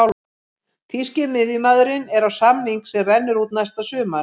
Þýski miðjumaðurinn er á samning sem rennur út næsta sumar.